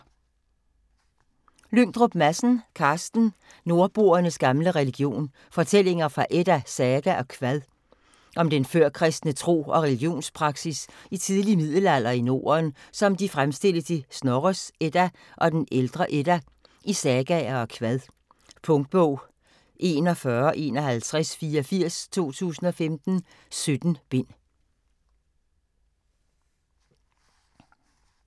Lyngdrup Madsen, Carsten: Nordboernes gamle religion: fortællinger fra edda, saga og kvad Om den førkristne tro og religiøs praksis i tidlig middelalder i Norden, som de fremstilles i Snorres Edda og den ældre Edda, i sagaer og kvad. Punktbog 415184 2015. 17 bind.